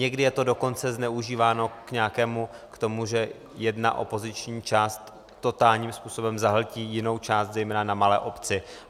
Někdy je to dokonce zneužíváno k tomu, že jedna opoziční část totálním způsobem zahltí jinou část, zejména na malé obci.